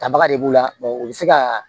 Tabaga de b'u la u bɛ se ka